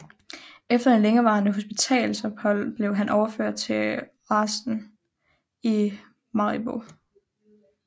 Efter et længerevarende hospitalsophold blev han overført til arresten i Maribo